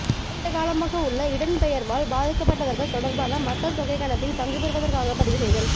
நீண்டகாலமாக உள்ளக இடம்பெயர்வால் பாதிக்கப்பட்டவர்கள் தொடர்பான மக்கள் தொகைக்கணிப்பில் பங்குபற்றுவதற்காக பதிவுசெய்தல்